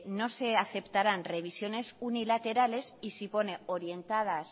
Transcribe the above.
no se aceptaran revisiones unilaterales y si pone orientadas